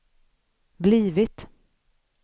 blivit